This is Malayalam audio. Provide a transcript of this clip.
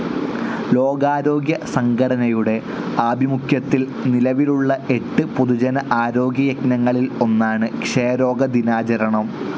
ലോകാരോഗ്യസംഘടനയുടെ ആഭിമുഖ്യത്തിൽ നിലവിലുള്ള എട്ട് പൊതുജന ആരോഗ്യ യജ്ഞങ്ങളിൽ ഒന്നാണ് ക്ഷയരോഗ ദിനാചരണം..